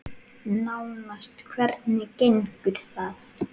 Nánast Hvernig gengur það?